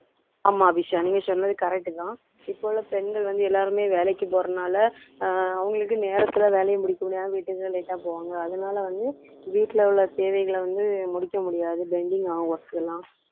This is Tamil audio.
ஆமா அபிஷா நீங்க சொன்னது correct தான் இப்ப உள்ள பெண்கள் வந்து எல்லாருமே வேலைக்கு போறதுனால அஹ் அவங்களுக்கு நேரத்துல வேலையை முடிக்க முடியாம வீட்டுக்கு லேட்டா போவாங்க அதனால வந்து வீட்ல உள்ள தேவைகளை வந்து முடிக்க முடியாது pending ஆகும் work எல்லாம்